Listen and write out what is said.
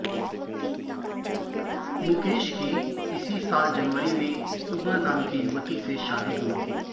मुकेश की इसी साल जनवरी में उमा नाम की युवती से शादी हुई थी